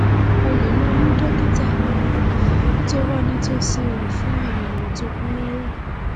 o lè lọ rí dókítà tó wà nítòsí rẹ fún àyẹwò tó kún rẹrẹ